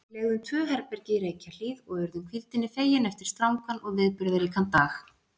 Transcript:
Við leigðum tvö herbergi í Reykjahlíð og urðum hvíldinni fegin eftir strangan og viðburðaríkan dag.